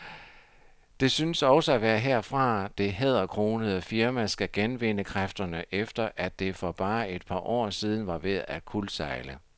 Det synes også at være herfra, det hæderkronede firma skal genvinde kræfterne, efter at det for bare et par år siden var ved at kuldsejle.